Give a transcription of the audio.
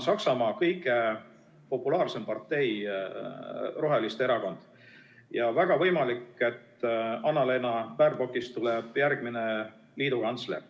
Saksamaa kõige populaarsem partei on praegu roheliste erakond ja väga võimalik, et Annalena Baerbockist saab järgmine liidukantsler.